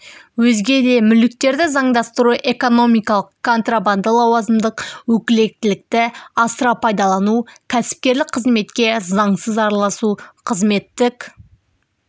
өзге де мүліктерді заңдастыру экономикалық контрабанда лауазымдық өкілеттікті асыра пайдалану кәсіпкерлік қызметке заңсыз араласу қызметтік